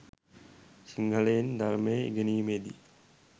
සිංහලෙන් ධර්මය ඉගෙනීමේදී